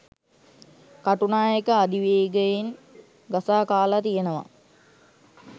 කටුනායක අධිවේගයෙන් ගසා කාලා තියෙනවා.